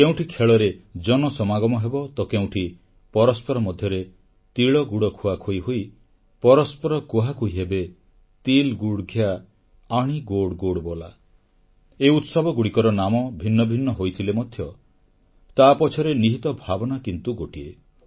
କେଉଁଠି ଖେଳରେ ଜନସମାଗମ ହେବ ତ କେଉଁଠି ପରସ୍ପର ମଧ୍ୟରେ ତିଳଗୁଡ଼ ଖୁଆଖୋଇ ହୋଇ ପରସ୍ପର କୁହାକୁହି ହେବେ ତିଲ୍ ଗୁଡ୍ ଘ୍ୟା ଆଣି ଗୋଡ଼ ଗୋଡ଼ ବୋଲା ଏହି ଉତ୍ସବଗୁଡ଼ିକର ନାମ ଭିନ୍ନ ଭିନ୍ନ ହୋଇଥିଲେ ମଧ୍ୟ ତାପଛରେ ନିହିତ ଭାବନା କିନ୍ତୁ ଗୋଟିଏ